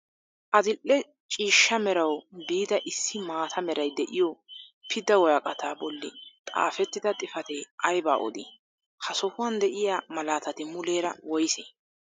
Adil'e ciishsha merawu biida issi maata meray de'iyoo pidda woraqataa bolli xaafettida xifatee aybaa odii? Ha sohuwaan de'iyaa malatati muleera woysee?